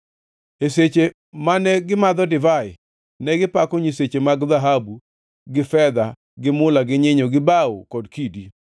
E seche mane gimadho divai, negipako nyiseche mag dhahabu gi fedha gi mula gi nyinyo gi bao kod kidi.